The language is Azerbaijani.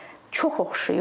Çox oxşayır.